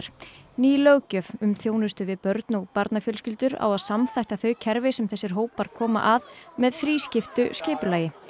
ný löggjöf um þjónustu við börn og barnafjölskyldur á að samþætta þau kerfi sem þessir hópar koma að með þrískiptu skipulagi